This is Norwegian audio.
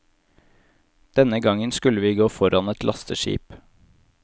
Denne gangen skulle vi gå foran et lasteskip.